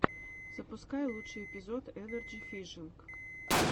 запускай лучший эпизод энарджи фишинг